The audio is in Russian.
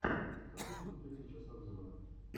хочу смотреть сейчас обзоры